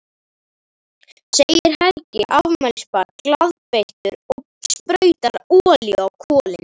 segir Helgi afmælisbarn glaðbeittur og sprautar olíu á kolin.